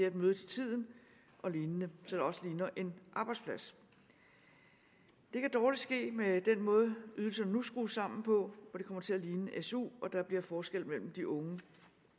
at møde til tiden og lignende så det også ligner en arbejdsplads det kan dårlig ske med den måde ydelserne nu er skruet sammen på hvor det kommer til at ligne su og hvor der bliver forskel mellem de unge